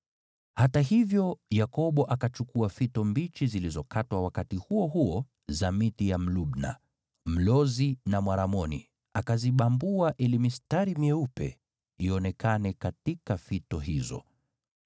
Hata hivyo, Yakobo, akachukua fito mbichi zilizokatwa wakati huo huo za miti ya mlubna, mlozi na mwaramoni akazibambua ili mistari myeupe ionekane katika fito hizo.